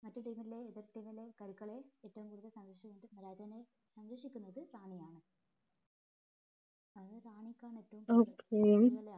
മറ്റേ team ലെ എതിർ team ലെ കരുക്കളെ ഏറ്റവും കൂടുതൽ സംരക്ഷി രാജാവിനെ സംരക്ഷിക്കുന്നത് റാണിയാണ് അത് റാണിക്കാണ്